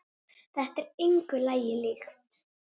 Þetta er engu lagi líkt.